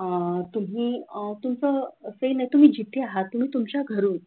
अह तुम्ही अह तुमचं जे ना जिथे आहात तुम्ही तुमच्या घरून